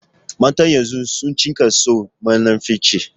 Matan yanzun sun cika son munafurci